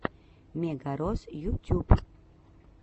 мегарос ютюб